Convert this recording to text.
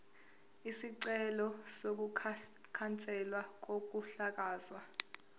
isicelo sokukhanselwa kokuhlakazwa